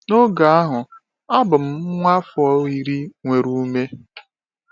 N’oge ahụ, a bụ m nwa afọ iri nwere ume.